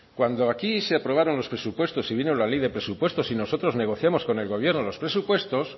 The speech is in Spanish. cuando aquí se aprobaron los presupuestos y vino la ley de presupuestos y nosotros negociamos con el gobierno los presupuestos